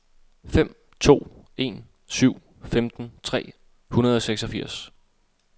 fem to en syv femten tre hundrede og seksogfirs